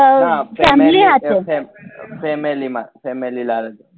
ના family માં family માં